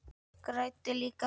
Græddi líka á því.